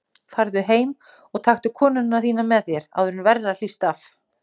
Farðu heim og taktu konuna þína með þér, áður en verra hlýst af.